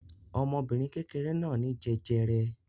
Ọmọbìnrin kékeré náà ní jẹjẹrẹ.